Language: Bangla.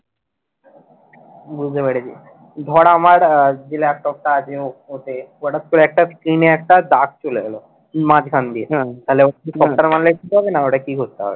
বুঝতে পেরেছি ধর আমার যে laptop টা আছে ওতে হঠাৎ করে screen এ একটা দাগ চলে এল মাঝখান দিয়ে তাহলে software মারলে ঠিক হবে না ওটা কি করতে হবে,